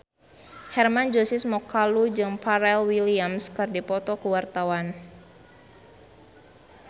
Hermann Josis Mokalu jeung Pharrell Williams keur dipoto ku wartawan